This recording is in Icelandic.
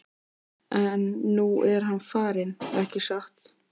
En nú er hann farinn, ekki satt?